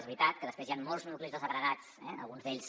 és veritat que després hi han molts nuclis desagregats eh alguns d’ells